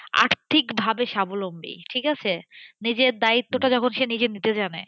আর্থিক ভাবে স্বাবলম্বী ঠিক আছে? নিজের দ্বায়িত্বটা যখন সে নিজে নিতে জানে